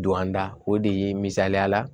Don an da o de ye misaliyala